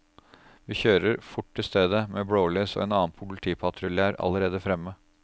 Vi kjører fort til stedet, med blålys, og en annen politipatrulje er allerede fremme.